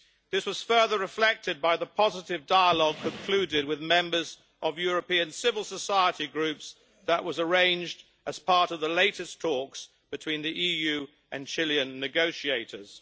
This was further reflected by the positive dialogue concluded with members of European civil society groups that was arranged as part of the latest talks between the EU and Chilean negotiators.